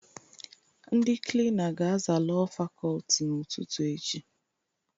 Ndị Klina ga-aza Lọọ Fakọlti n'ụtụtụ echi.